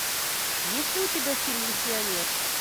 есть ли у тебя фильм миссионер